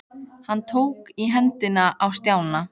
Hann tók í hendina á Stjána.